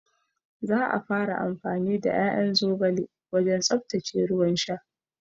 Za a fara amfani da ƴaƴan zogale wajen tsaftace ruwan sha